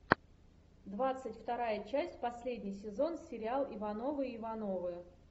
двадцать вторая часть последний сезон сериал ивановы ивановы